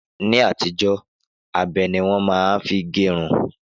Ni àtijó, abe ni wọ́n ma n fi gérun